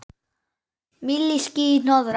Milli ský- hnoðra.